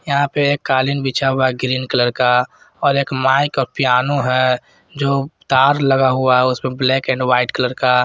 यहां पे एक कालीन बिछा हुआ है ग्रीन कलर का और एक माइक और पियानो है जो तार लगा हुआ है उसमें ब्लैक एंड व्हाइट कलर का।